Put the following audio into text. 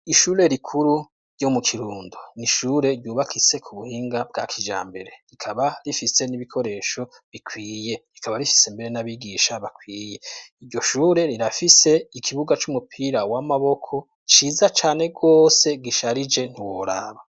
Ishure rikuru ryo mu Kirundo ni ishure ryubakitse ku buhinga bwa kijambere, rikaba rifise n'ibikoresho bikwiye, rikaba rifise mbere n'abigisha bakwiye. Iryo shure rirafise ikibuga c'umupira w'amaboko ciza cane rwose gisharije ntiworaba.